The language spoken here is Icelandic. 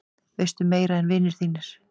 Veistu meira en vinir þínir?